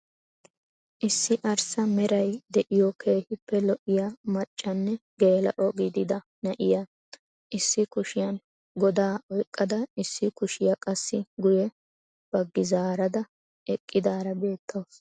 Issi arssa meray de'iyoo keehippe lo"iyaa maccanne geela'o giidida na'iyaa issi kushiyaan godaa oyqqada issi kushiyaa qassi guyye baggi zaarada eqqidaara beettawus.